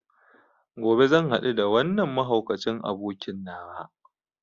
Gobe zan hadu da wannan mahaukacin abokin nawa.